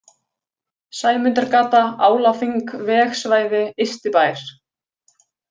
Sæmundargata, Álaþing, Vegsvæði, Ystibær